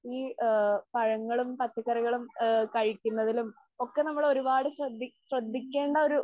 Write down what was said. ഈ ആ പഴങ്ങളും പച്ചക്കറികളും ആ കഴിക്കുന്നതിലും ഒക്കെ നമ്മള് ഒരുപാട് ശ്രദ്ധി ശ്രദ്ധിക്കേണ്ട ഒരു